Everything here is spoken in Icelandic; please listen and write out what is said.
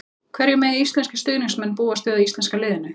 Hverju mega íslenskir stuðningsmenn búast við af íslenska liðinu?